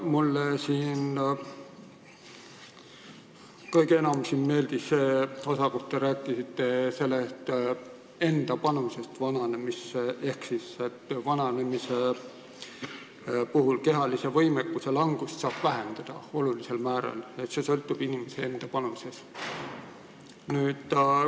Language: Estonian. Mulle meeldis kõige enam see osa, kus te rääkisite enda panusest vananemisse ehk sellest, et vananemise puhul saab kehalise võimekuse langust olulisel määral vähendada, see sõltub inimese enda panusest.